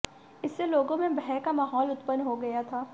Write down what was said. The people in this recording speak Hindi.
इससे लोगों में भय का माहौल उत्पन्न हो गया था